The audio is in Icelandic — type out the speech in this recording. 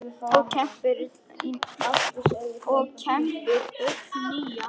og kembir ull nýja.